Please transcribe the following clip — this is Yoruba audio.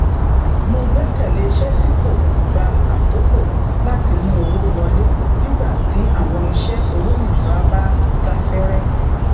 mo gbẹkẹlé iṣẹ tí kò gba àkókò láti mú owó wọlé nígbà tí àwọn iṣẹ olómìnira bá sáfẹrẹ